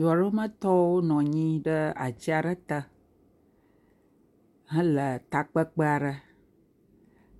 Du aɖe me tɔwo nɔ anyi ɖe atsi te hele takpekpe aɖe.